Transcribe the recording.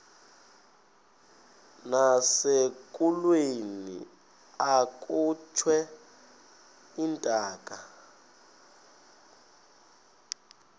nasekulweni akhutshwe intaka